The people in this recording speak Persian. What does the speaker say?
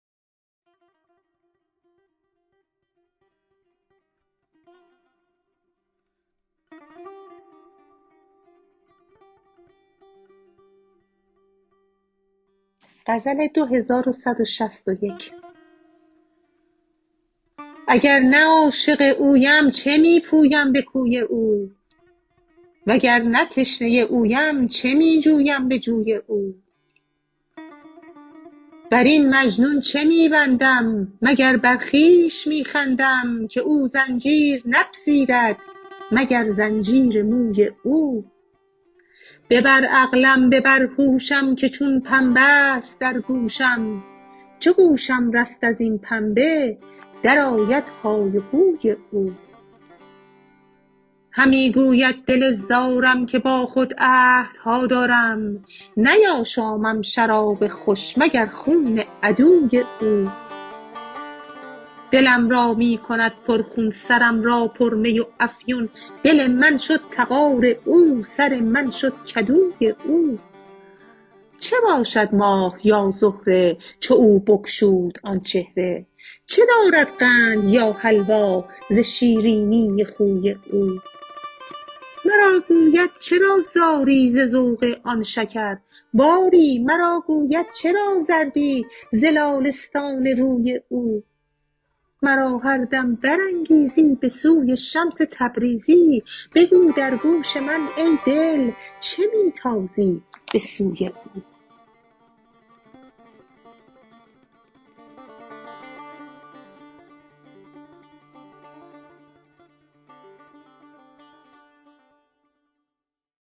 اگر نه عاشق اویم چه می پویم به کوی او وگر نه تشنه اویم چه می جویم به جوی او بر این مجنون چه می بندم مگر بر خویش می خندم که او زنجیر نپذیرد مگر زنجیر موی او ببر عقلم ببر هوشم که چون پنبه ست در گوشم چو گوشم رست از این پنبه درآید های هوی او همی گوید دل زارم که با خود عهدها دارم نیاشامم شراب خوش مگر خون عدوی او دلم را می کند پرخون سرم را پرمی و افیون دل من شد تغار او سر من شد کدوی او چه باشد ماه یا زهره چو او بگشود آن چهره چه دارد قند یا حلوا ز شیرینی خوی او مرا گوید چرا زاری ز ذوق آن شکرباری مرا گوید چرا زردی ز لاله ستان روی او مرا هر دم برانگیزی به سوی شمس تبریزی بگو در گوش من ای دل چه می تازی به سوی او